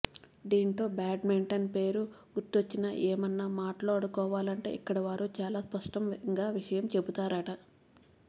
దీంతో బ్యాట్మేన్ పేరు గురించి ఏమన్నా మాట్లాడుకోవాలంటే ఇక్కడి వారు చాలా స్పష్టంగా విషయం చెబుతారట